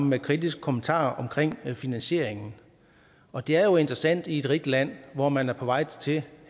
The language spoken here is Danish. med kritiske kommentarer om finansieringen og det er jo interessant i et rigt land hvor man er på vej til